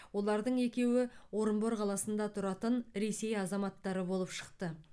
олардың екеуі орынбор қаласында тұратын ресей азаматтары болып шықты